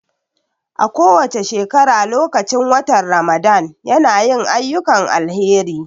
A kowace shekara lokacin watan Ramadan ya na yin ayyukan alheri